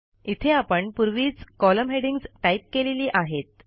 इथे आपण पूर्वीच कॉलम हेडिंग्ज टाईप केलेली आहेत